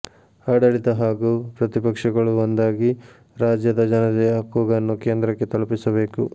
ಆಡಳಿತ ಹಾಗೂ ಪ್ರತಿಪಕ್ಷಗಳು ಒಂದಾಗಿ ರಾಜ್ಯದ ಜನತೆಯ ಕೂಗನ್ನು ಕೇಂದ್ರಕ್ಕೆ ತಲುಪಿಸಬೇಕು